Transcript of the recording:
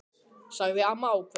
sagði amma ákveðin.